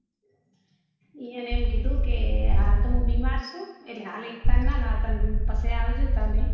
એ યો ને એમ કીધું કે હાલ તો મુ બિમાર છુ એટલે હાલ એકતા ને ના લાવતા પછી આવજો તમે